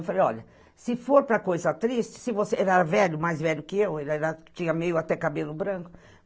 Eu falei, olha, se for para coisa triste, se você... Ele era velho, mais velho que eu, ele tinha meio até cabelo branco.